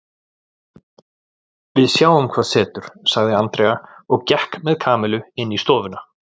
Við sjáum hvað setur sagði Andrea og gekk með Kamillu inn í stofuna.